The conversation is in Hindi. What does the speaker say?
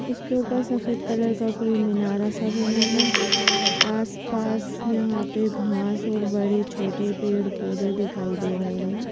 उसके ऊपर सफेद कलर का कोई मीनार ऐसा बना है आस पास यहां पे घास और बड़े छोटे पेड़ पौधे दिखाई दे रहे हैं।